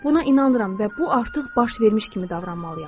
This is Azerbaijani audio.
Buna inanıram və bu artıq baş vermiş kimi davranmalıyam.